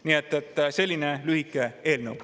Nii et selline lühike eelnõu.